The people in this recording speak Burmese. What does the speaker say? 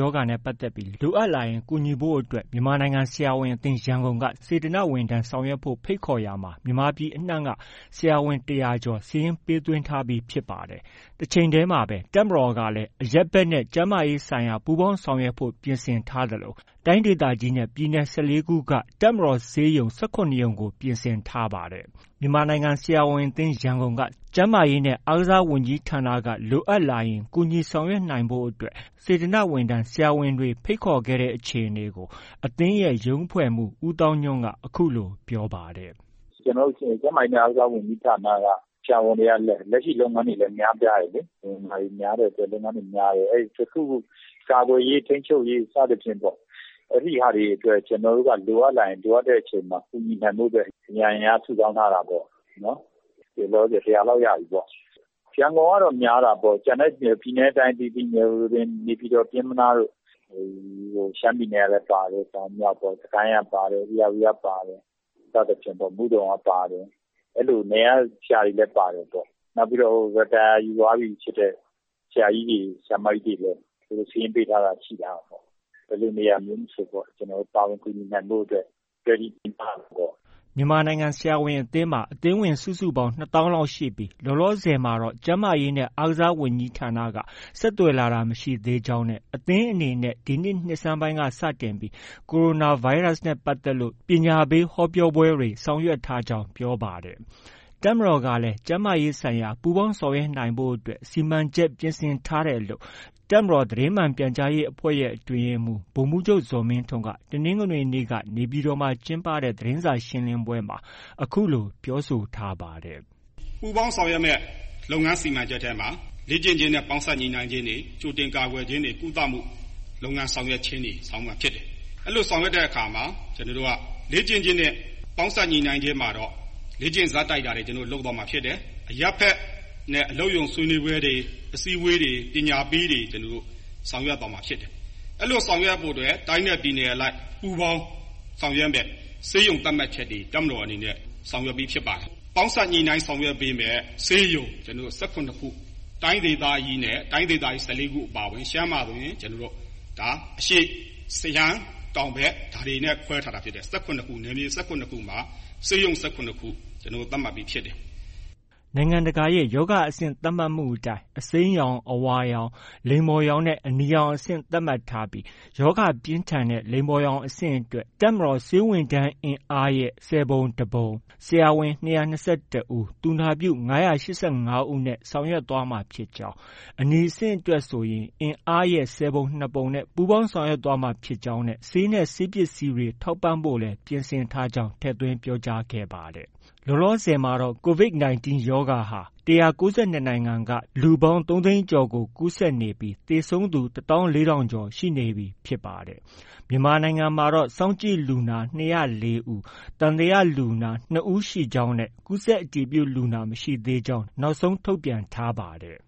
ရောဂါနဲ့ ပတ်သက်ပြီး လိုအပ်လာရင် ကူညီဖို့အတွက် မြန်မာနိုင်ငံဆရာဝန်အသင်း က စေတနာ့ဝန်ထမ်းဆောင်ရွက်ဖို့ ဖိတ်ခေါ်ရာမှာ မြန်မာပြည်နေရာအနှံ့က ဆရာဝန် ၁၀၀ကျော် စာရင်းပေးသွင်းထားပြီ ဖြစ်ပါတယ်။ တချိန်တည်းမှာပဲ တပ်မတော်ကလည်း အရပ်ဘက်နဲ့ ကျန်းမာရေးဆိုင်ရာ ပူးပေါင်းဆောင်ရွက်ဖို့ ပြင်ဆင်ထားသလို တိုင်းဒေသကြီးနဲ့ပြည်နယ် ၁၄ ခုမှာ တပ်မတော်ဆေးရုံ ၁၇ ရုံကို ပြင်ဆင်ထားပါတယ်။ မြန်မာနိုင်ငံဆရာဝန်အသင်း ကို ကျန်းမာရေးနဲ့ အားကစားဝန်ကြီးဌာနက လိုအပ်လာရင် ကူညီနိုင်ဖို့အတွက် စေတနာဝန်ထမ်းဆရာဝန်တွေကို ဖိတ်ခေါ်ခဲ့တဲ့အခြေအနေကို အသင်းရဲ့ ရုံးအဖွဲ့မှူး ဦးသောင်းညွှန့်က အခုလို ပြောပါတယ်။ “ကျနော်တို့ ကျန်းမာရေးနဲ့ အားကစားဝန်ကြီးဌာနက ဆရာဝန်တွေက လက်ရှိ လုပ်ငန်းတွေလည်း များပြားတယ်လေ။ လူမမာတွေ များတဲ့အတွက် လုပ်ငန်းတွေ များတယ်။ အဲဒီ တခုခု ကာကွယ်ရေး၊ ထိန်းချုပ်ရေး အဲဒီဟာတွေအတွက်ပေါ့။ ကျနော်တို့က လိုအပ်လာရင် လိုအပ်တဲ့အချိန်မှာ ကူညီနိုင်ဖို့အတွက် အရံအင်အား စုဆောင်းထားတာပေါ့။ အခုလောလောဆယ် ၁၀၀ လောက်ရပြီပေါ့။ ရန်ကုန်ကတော့ များတာပေါ့။ ပြည်နယ်နဲ့ တိုင်းအသီးသီး နေပြည်တော်၊ ပျဉ်းမနားတို့၊ ရှမ်းပြည်နယ်ကလည်း ပါတယ်။ တောင်၊ မြောက်ပေါ့။ စစ်ကိုင်းကပါတယ်။ ဧရာဝတီက ပါတယ်။ စသည့်ဖြင့်ပေါ့။ပြီးတော့ မုဒုံကလည်း ပါတယ်။ အဲလို နယ်က ဆရာတွေလည်း ပါတယ်ပေါ့။ နောက်ပြီးတော့ Retire ယူသွားပြီဖြစ်တဲ့ ဆရာကြီးတွေ၊ ဆရာမကြီးတွေလည်း သူတို့ စာရင်း ပေးထားတာ ရှိတာပေါ့။ ဘယ်လိုနေရာမျိုးမဆို ပါဝင်ကူညီနိုင်ဖို့ Ready ပြင်ထားတာပေါ့။” မြန်မာနိုင်ငံ ဆရာဝန်အသင်းမှာ အသင်းဝင်စုစုပေါင်း ၂၀,၀၀၀ လောက်ရှိပြီး လောလောဆယ်မှာတော့ ကျန်းမာရေးနဲ့ အားကစားဝန်ကြီးဌာနက ဆက်သွယ်လာတာ မရှိသေးကြောင်းနဲ့ အသင်းအနေနဲ့ ဒီနှစ် နှစ်ဆန်းပိုင်းက စတင်ပြီး ကိုရိုနာဗိုင်းရပ်စ်နဲ့ ပတ်သက်လို့ ပညာပေးဟောပြောပွဲတွေ ဆောင်ရွက်ထားကြောင်း ပြောပါတယ်။ တပ်မတော်ကလည်း ကျန်းမာရေးဆိုင်ရာ ပူးပေါင်းဆောင်ရွက်ဖို့အတွက် စီမံချက်ရေးဆွဲပြင်ဆင်ထားတယ်လို့ တပ်မတော်သတင်းမှန်ပြန်ကြားရေးအဖွဲ့ အတွင်းရေးမှူး ဗိုလ်မှုးချုပ် ဇော်မင်းထွန်းက တနင်္ဂနွေနေ့က နေပြည်တော်မှာ ကျင်းပတဲ့သတင်းစာရှင်းလင်းပွဲမှာ အခုလို ပြောဆိုထားပါတယ်။ “ပူးပေါင်းဆောင်ရွက်မယ့် လုပ်ငန်းစီမံချက်ထဲမှာ လေ့ကျင့်ခြင်းနဲ့ ပေါင်းစပ်ညှိနှိုင်းခြင်းတွေ၊ ကြိုတင် ကာကွယ်ခြင်းတွေ၊ ကုသမှု လုပ်ငန်းဆောင်ရွက်ခြင်းတွေ ဆောင်ရွက်မှာဖြစ်တယ်။ အဲလို ဆောင်ရွက်တဲ့ နေရာမှာ လေ့ကျင့်ခြင်းနဲ့ ပေါင်းစပ်ညှိနှိုင်ခြင်းမှာတော့ လေ့ကျင့်ဇာတ်တိုက်တာတွေ လုပ်သွားမှာဖြစ်တယ်။ အရပ်ဘက်နဲ့ အလုပ်ရုံဆွေးနွေးပွဲတွေ၊ အစည်းအဝေးတွေ၊ ပညာပေးတွေ ကျနော်တို့ ဆောင်ရွက်သွားမှာ ဖြစ်တယ်။ အဲလို ဆောင်ရွက်ဖို့အတွက် တိုင်းနဲ့ ပြည်နယ်အလိုက် ပူးပေါင်းဆောင်ရွက်မယ့် ဆေးရုံသတ်မှတ်ချက်တွေ တပ်မတော်အနေနဲ့ ဆောင်ရွက်ပြီးဖြစ်ပါတယ်။ပေါင်းစပ်ညှိနှိုင်းဆောင်ရွက်ပေးမယ့် ဆေးရုံ ၁၇ ခု၊ တိုင်းဒေသကြီး ၁၄ခု အပါအဝင် ရှမ်းမှာဆိုရင် အရှေ့ရှမ်း၊ တောင်ဘက် ဒါတွေနဲ့ ခွဲထားတာဖြစ်တယ်။ နယ်မြေ ၁၇ ခုမှာ ဆေးရုံ ၁၇ ခု သတ်မှတ်ပြီးဖြစ်တယ်။” နိုင်ငံတကာရဲ့ ရောဂါအဆင့် သတ်မှတ်မှုအတိုင်း အစိမ်းရောင်၊ အဝါရောင်၊ လိမ္မော်ရောင်နဲ့ အနီရောင်အဆင့် သတ်မှတ်ထားပြီး ရောဂါပြင်းထန်တဲ့ လိမ္မော်ရောင်အဆင့်အတွက် တပ်မတော်ဆေးဝန်ထမ်း အင်အားအားလုံးရဲ့ ဆယ်ပုံတပုံ၊ ဆရာဝန် ၂၂၁ ဦး၊ သူနာပြု ၅၈၅ ဦးနဲ့ ဆောင်ရွက်မှာဖြစ်ကြောင်း၊ အနီရောင်အဆင့်မှာဆိုရင်တော့ အင်အားရဲ့ ဆယ်ပုံနှစ်ပုံ နဲ့ ပူးပေါင်း ဆောင်ရွက်သွားမှာ ဖြစ်ကြောင်းနဲ့ဆေးနဲ့ ဆေးပစ္စည်းတွေ ထောက်ပံ့ဖု့ိလည်း ပြင်ဆင်ထားကြောင်း ထည့်သွင်းပြောကြားခဲ့ပါတယ်။ လောလောဆယ်မှာတော့ ၁၉၂ နိုင်ငံမှာ လူပေါင်း ၃၀၀,၀၀၀ ကျော်ကူးစက်နေပြီး သေဆုံးသူ ၁၄,၀၀၀ ကျော်ရှိနေပြီ ဖြစ်ပါတယ်။ မြန်မာနိုင်ငံမှာတော့ စောင့်ကြည့်လူနာ ၂၀၄ ဦး၊ သံသယလူနာ ၂ ဦး ရှိခဲ့ကြောင်းနဲ့ ကူးစက်အတည်ပြုလူနာ မရှိသေးကြောင်း နောက်ဆုံးထုတ်ပြန်ထားပါတယ်